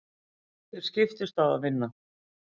Þeir skiptust á að vinna.